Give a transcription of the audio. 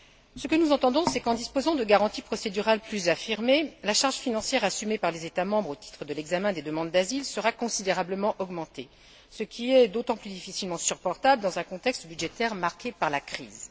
Ce que nous entendons, c'est qu'en disposant de garanties procédurales plus affirmées, la charge financière assumée par les États membres au titre de l'examen des demandes d'asile sera considérablement augmentée, ce qui est d'autant plus difficilement supportable dans un contexte budgétaire marqué par la crise.